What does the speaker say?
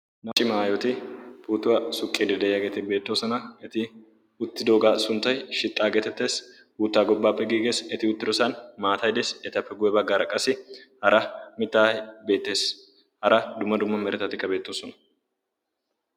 naaci maayoti puutuwaa suqqieidi de7iyaageeti beettoosona eti uttidoogaa sunttai shixxaageetettees guuttaa gobbaappe giigees eti uttidosan maataidees etappe guye baggaara qasi hara mittaai beettees hara dumma dumma meretatikka beettoosona